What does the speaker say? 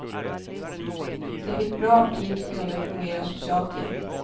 De fick bra aptit och kunde fungera socialt igen.